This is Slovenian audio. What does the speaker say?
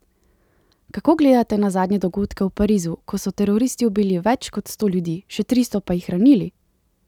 Kako gledate na zadnje dogodke v Parizu, ko so teroristi ubili več kot sto ljudi, še tristo pa jih ranili?